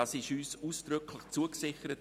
Dies wurde uns ausdrücklich zugesichert.